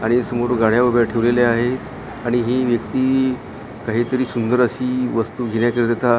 आणि समोर गाड्या उभ्या ठेवलेल्या आहे आणि ही व्यक्ती काहीतरी सुंदर अशी वस्तू घेण्याकरिता--